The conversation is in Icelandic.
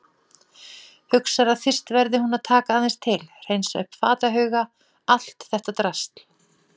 Hugsar að fyrst verði hún að taka aðeins til, hreinsa upp fatahauga, allt þetta drasl.